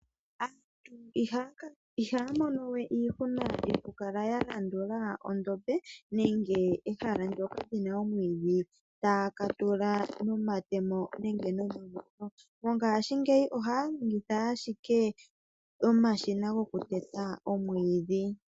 Aantu mongashingeyi ihaya mono we iihuna yokukala ya landula edhiya nenge ehala ndoka lina omwiidhi taya katula. mongaashingeyi ohaya longitha ashike omashina goku teta omwiidhi.